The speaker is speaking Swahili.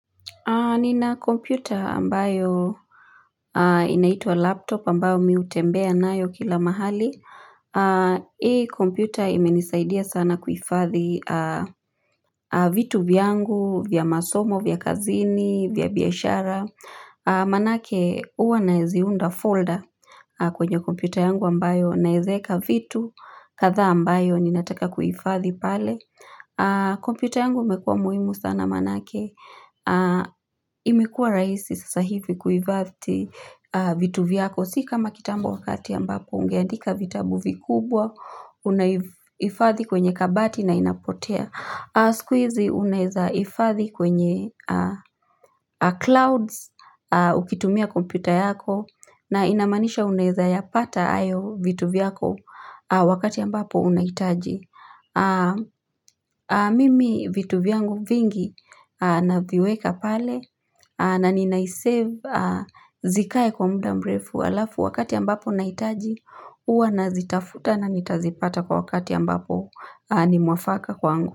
Nina kompyuta ambayo inaitwa laptop ambayo mimi hutembea nayo kila mahali. Hii kompyuta imenisaidia sana kuhifadhi vitu vyangu, vya masomo, vya kazini, vya biashara. Maanake huwa naziunda folder kwenye kompyuta yangu ambayo naweza weka vitu kadhaa ambayo ninataka kuhifadhi pale. Kompyuta yangu imekuwa muhimu sana maanake imekuwa rahisi sasa hivi kuhifadhi vitu vyako si kama kitambo wakati ambapo ungeandika vitabu vikubwa unahifadhi kwenye kabati na inapotea siku hizi unaweza hifadhi kwenye clouds ukitumia kompyuta yako na inamaanisha unaweza yapata hayo vitu vyako wakati ambapo unahitaji Mimi vitu vyangu vingi naviweka pale na ninai-save zikae kwa muda mrefu halafu wakati ambapo nahitaji huwa nazitafuta nanitazipata kwa wakati ambapo ni mwafaka kwangu.